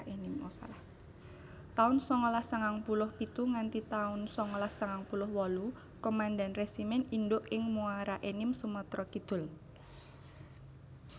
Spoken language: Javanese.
taun sangalas sangang puluh pitu nganti taun sangalas sangang puluh wolu Komandan Resimen Induk ing Muaraenim Sumatra Kidul